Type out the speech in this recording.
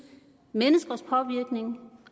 menneskers påvirkning